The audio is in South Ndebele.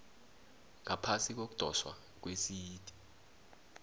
ngaphasi kokudoswa kwesite